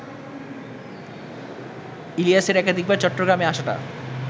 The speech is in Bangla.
ইলিয়াসের একাধিকবার চট্টগ্রামে আসাটা